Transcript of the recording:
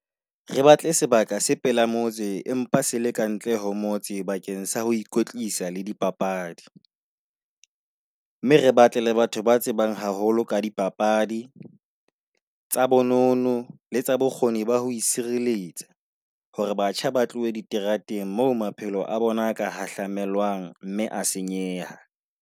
Re batle sebaka se pela motse empa se le kantle ho motse bakeng sa ho ikwetlisa le dipapadi, mme re batle le batho ba tsebang haholo ka dipapadi, tsa bonono, le tsa bokgoni ba ho sireletsa hore batjha ba tlohe diterateng moo maphelo a bona a ka hahlwamelwang mme a senyeha.